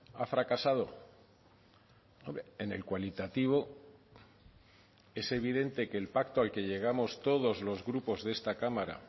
ha fracasado en el cualitativo es evidente que el pacto al que llegamos todos los grupos de esta cámara